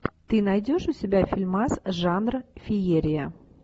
ты найдешь у себя фильмас жанра феерия